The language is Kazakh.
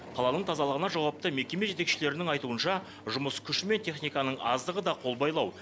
қаланың тазалығына жауапты мекеме жетекшілерінің айтуынша жұмыс күші мен техниканың аздығы да қолбайлау